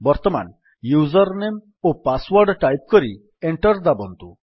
ବର୍ତ୍ତମାନ user name ଓ password type କରି ଏଣ୍ଟର୍ ଦାବନ୍ତୁ